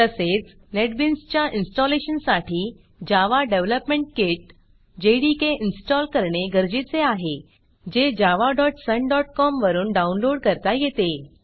तसेच नेटबीन्सच्या इन्स्टॉलेशनसाठी Java development kit JDK install करणे गरजेचे आहे जे javasunकॉम वरून डाऊनलोड करता येते